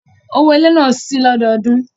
Owó ilé náà lé síi lọ́dọọdún